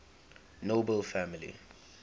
nobel family